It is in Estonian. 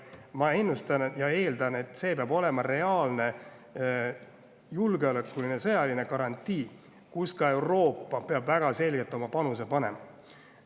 Ma ennustan ja eeldan, et see peab olema reaalne julgeolekuline ja sõjaline garantii, mille puhul Euroopa peab väga selgelt oma panuse andma.